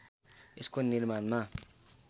यसको निर्माणमा